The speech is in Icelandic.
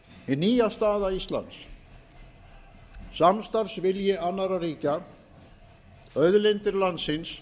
hin nýja staða íslands samstarfsvilji annarra ríkja auðlindir landsins